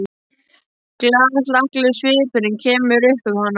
Glaðhlakkalegur svipurinn kemur upp um hana.